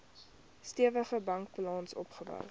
stewige bankbalans opgebou